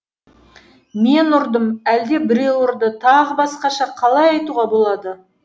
мен ұрдым әлде біреу ұрды тағы басқаша қалай айтуға болады